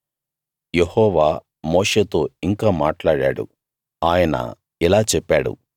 యెహోవా మోషేతో ఇంకా మాట్లాడాడు ఆయన ఇలా చెప్పాడు